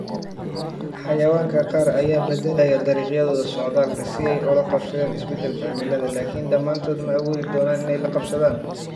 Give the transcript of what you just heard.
Xayawaanka qaar ayaa beddelaya dariiqyadooda socdaalka si ay ula qabsadaan isbeddelka cimilada, laakiin dhammaantood ma awoodi doonaan inay la qabsadaan.